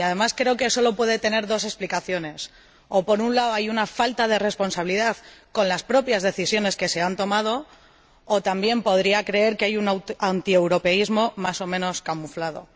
Y, además, creo que solo puede tener dos explicaciones o, por un lado, hay una falta de responsabilidad con las propias decisiones que se han tomado o, por otro, podría creer que hay un antieuropeísmo más o menos camuflado.